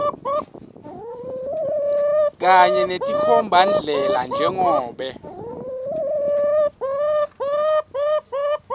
kanye netinkhombandlela njengobe